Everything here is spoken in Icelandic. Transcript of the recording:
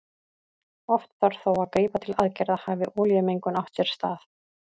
Oft þarf þó að grípa til aðgerða hafi olíumengun átt sér stað.